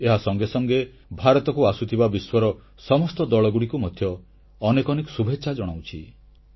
ଏହା ସଙ୍ଗେସଙ୍ଗେ ଭାରତକୁ ଆସୁଥିବା ବିଶ୍ୱର ସମସ୍ତ ଦଳଗୁଡ଼ିକୁ ମଧ୍ୟ ଅନେକ ଅନେକ ଶୁଭେଚ୍ଛା ଜଣାଉଛି